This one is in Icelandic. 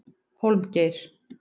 Hólmgeir